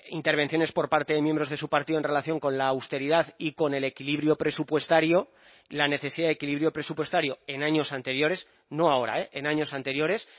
intervenciones por parte de miembros de su partido en relación con la austeridad y con el equilibrio presupuestario la necesidad de equilibrio presupuestario en años anteriores no ahora eh en años anteriores